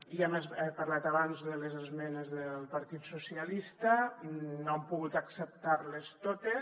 ja hem parlat abans de les esmenes del partit socialista no hem pogut acceptar les totes